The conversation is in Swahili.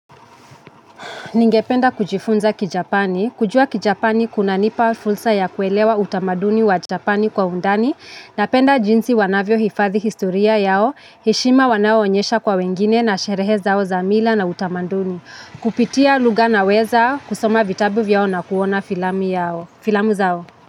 Ningependa kujifunza kijapani, kujua kijapani kunanipa fulsa ya kuelewa utamaduni wa japani kwa undani, napenda jinsi wanavyohifadhi historia yao, heshima wanayoonyesha kwa wengine na sherehe zao za mila na utamaduni. Kupitia lugha naweza, kusoma vitabu yao na kuona filamu zao.